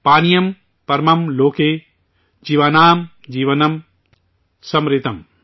پانیم پرمم لوکے، جیوانام جیونم سمرتم